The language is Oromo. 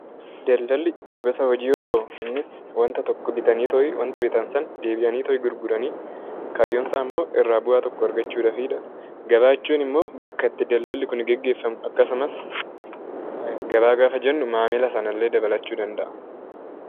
Daldalli gosa hojii yoo ta'u, innis waanta tokko bitanii wanta bitan sana deebi'aniito gurgurani. Kaayyoon isaa immoo irraa bu'aa tokko argachuudhaafidha. Gabaa jechuun immoo bakka itti daldalli kun gaggeeffamu akkasumas gabaa gaafa jennu maamila sanallee dabalachuu danda'a.